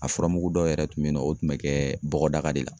A furamugu dɔw yɛrɛ tun bɛ yen nɔ o tun bɛ kɛ bɔgɔdaga de la